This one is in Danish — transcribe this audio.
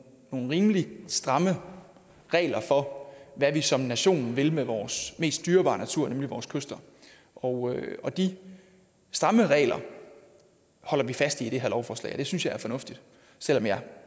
rimelig stramme regler for hvad vi som nation vil med vores mest dyrebare natur nemlig vores kyster og og de stramme regler holder vi fast i i det her lovforslag og det synes jeg er fornuftigt selv om jeg